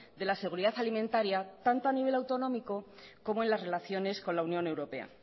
de la seguridad alimentaria tanto a nivel autonómico como en las relaciones con la unión europea